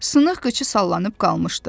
Sınıq qıçı sallanıb qalmışdı.